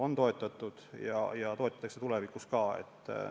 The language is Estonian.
On toetatud ja toetatakse tulevikus ka.